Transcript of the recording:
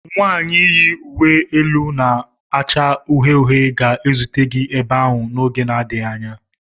Nwanyị yi uwe elu na-acha uhie uhie ga-ezute gị ebe ahụ n'oge adịghị anya.